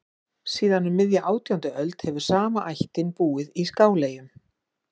Síðan um miðja átjándu öld hefur sama ættin búið í Skáleyjum.